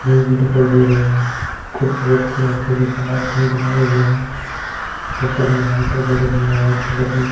Fridge दिखाई दे रहे हैं कुछ व्यक्ति की सामान खरीदने आए हुए हैं ऊपर ये लाइटें जग रही है व्हाइट कलर की।